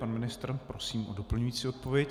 Pan ministr, prosím o doplňující odpověď.